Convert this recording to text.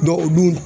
u dun